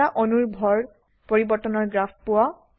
এটা অণুৰ ভৰ পৰিবৰ্তনৰ গ্ৰাফ পোৱা